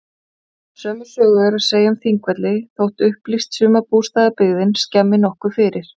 Sömu sögu er að segja um Þingvelli þótt upplýst sumarbústaðabyggðin skemmi nokkuð fyrir.